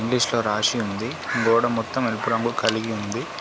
ఇంగ్లీషులో రాసి ఉంది గోడ మొత్తం ఎరుపు రంగు కలిగి ఉంది.